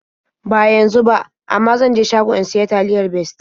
Ba yanzu ba, amma zan je shago in sayi taliyar Bestie.